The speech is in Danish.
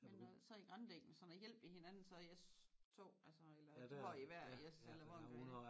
Men øh så i grandækning og sådan noget hjælper I hinanden så I er to eller går I hver i jeres eller hvordan gør I?